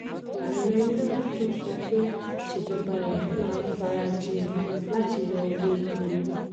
ààrẹ náà tún sọ pé ìsèjọba rẹ̀ máa farajìn láti yọ owó epo orí.